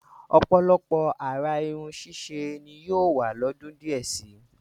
Ọ̀pọ̀lọpọ̀ àrà irun ṣíṣe ni yóò wà lọ́dún díẹ̀ si.